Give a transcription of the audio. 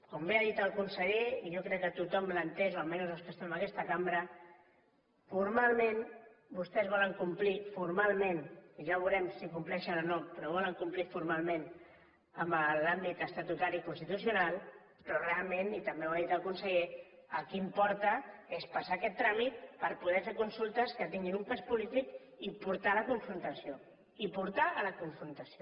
com bé ha dit el conseller i jo crec que tothom l’ha entès o almenys els que estem en aquesta cambra formalment vostès volen complir formalment i ja veurem si hi compleixen o no però volen complir formalment amb l’àmbit estatutari i constitucional però realment i també ho ha dit el conseller el que importa és passar aquest tràmit per poder fer consultes que tinguin un pes polític i portar a la confrontació i portar a la confrontació